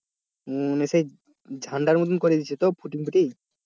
হম মানে সেই ঝাণ্ডার মতো করে দিচ্ছে তো পুডিং পুডিং?